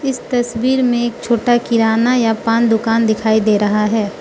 इस तस्वीर में एक छोटा किराना या पान दुकान दिखाई दे रहा है।